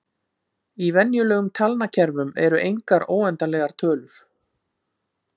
Í venjulegum talnakerfum eru engar óendanlegar tölur.